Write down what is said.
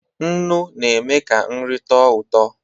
Nnu na-eme ka nri tọọ ụtọ.